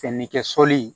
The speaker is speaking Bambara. Fɛnni kɛ sɔli